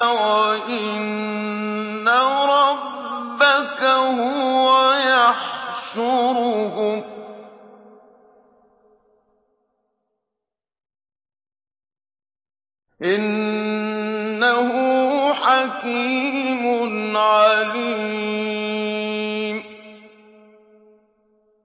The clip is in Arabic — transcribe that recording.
وَإِنَّ رَبَّكَ هُوَ يَحْشُرُهُمْ ۚ إِنَّهُ حَكِيمٌ عَلِيمٌ